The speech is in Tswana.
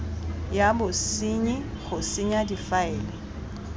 ya bosenyi go senya difaele